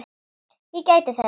Ég gæti þess.